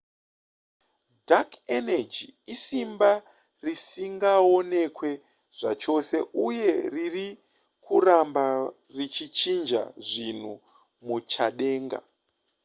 dark energy isimba risingaonekwe zvachose uye riri kuramba richichinja zvinhu muchadenga